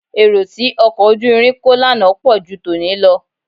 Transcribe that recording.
Èrò tí ọkọ̀ ojú irin kó lánàá pọ̀ ju tòní lọ